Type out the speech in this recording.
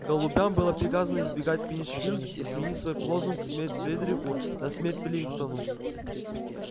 голубям было приказано избегать пинчфилд и сменить свой лозунг смерть фредерику на смерть пилкингтону